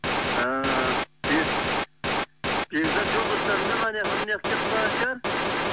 ііі бекзат жолдастарымен анаяқа мұнаяққа кетіп қалған шығар